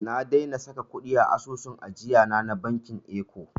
Na daina saka kuɗi a asusun ajiyana na bankin eko.